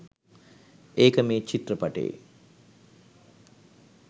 ඒක මේ චිත්‍රපටයේ.